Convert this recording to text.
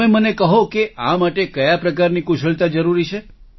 તમે મને કહો કે આ માટે કયા પ્રકારની કુશળતા જરૂરી છે